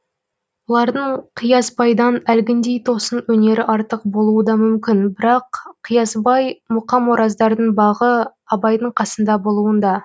олардың қиясбайдан әлгіндей тосын өнері артық болуы да мүмкін бірақ қиясбай мұқамораздардың бағы абайдың қасында болуында